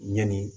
Ɲɛni